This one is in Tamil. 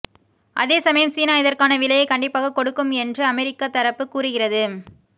அதே சமயம் சீனா இதற்கான விலையை கண்டிப்பாக கொடுக்கும் என்று அமெரிக்க தரப்பு கூறுகிறது